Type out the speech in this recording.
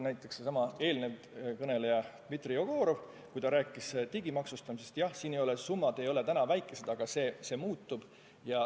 Eelkõneleja Dmitri Jegorov ütles digimaksustamisest rääkides, et need summad ei ole praegu väga suured, aga see muutub.